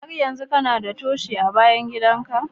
Har yanzu kana da Toshi a bayan gida ka?